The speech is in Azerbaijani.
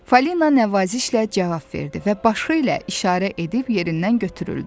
Falina nəvazişlə cavab verdi və başı ilə işarə edib yerindən götürüldü.